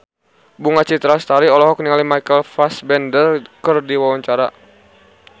Bunga Citra Lestari olohok ningali Michael Fassbender keur diwawancara